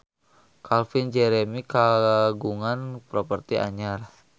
Calvin Jeremy kagungan properti anyar